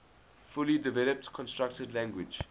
fully developed constructed language